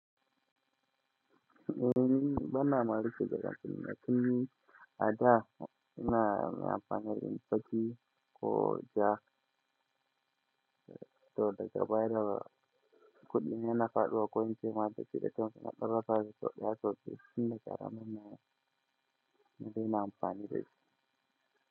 Eh, bana maɗi cewa daga film na film, a da ina amfani da fim fashi ko jak to daga baya kuma kuɗi na na faɗuwa ko in ce ma da cire can suna ɗora saji sau ɗaya sau biyu, fim na ƙara mun nan ina amfani da shi.